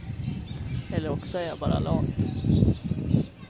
Eller också är jag bara lat.